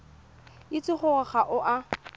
itse gore ga o a